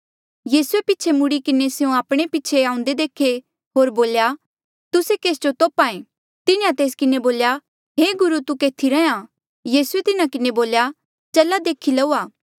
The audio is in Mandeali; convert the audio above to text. यीसूए पीछे मुड़ी किन्हें स्यों आपणे पीछे आऊंदे देखे होर बोल्या तुस्से केस जो तोप्हा ऐें तिन्हें तेस किन्हें बोल्या हे गुरु तू केथी रैंहयां यीसूए तिन्हा किन्हें बोल्या चला देखी लऊआ